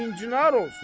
İnçinar olsun.